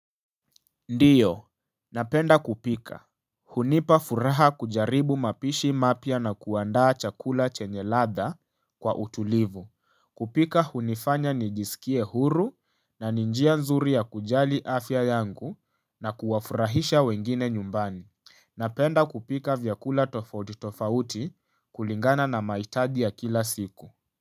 Ndiyo, napenda kupika. Hunipa furaha kujaribu mapishi mapya na kuandaa chakula chenye ladha kwa utulivu. Kupika hunifanya nijisikie huru na ninjia nzuri ya kujali afya yangu na kuwafurahisha wengine nyumbani. Napenda kupika vyakula tofauti tofauti kulingana na mahitaji ya kila siku.